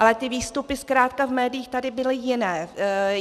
Ale ty výstupy zkrátka v médiích tady byly jiné.